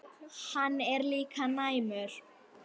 Hann er líka næmur.